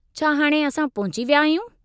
छा हाणि असां पहुची विया आहियूं?